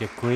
Děkuji.